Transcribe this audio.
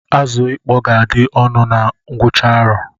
Azụ ịkpọ ga-adị ọnụ na ngwụcha arọ